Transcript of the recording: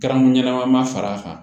Garamu ɲɛnama far'a kan